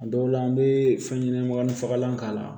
A dɔw la an be fɛn ɲɛnɛma nun fagalan k'a la